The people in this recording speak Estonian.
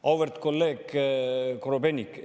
Auväärt kolleeg Korobeinik!